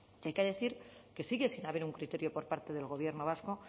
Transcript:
y hay que decir que sigue sin haber un criterio por parte del gobierno vasco